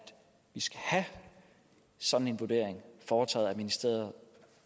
vi skal have sådan en vurdering foretaget af ministeriet